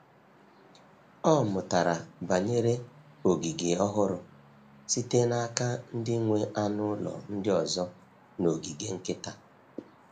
Ọ mụtara banyere ogige ọhụrụ site n’aka ndị nwe anụ ụlọ ndị ọzọ n’ogige nkịta.